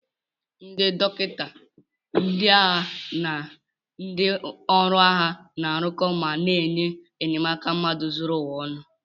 Ndị dọkịta ndị agha na ndị ọrụ agha na-arụko ma na-enye enyemaka mmadụ zuru ụwa ọnụ.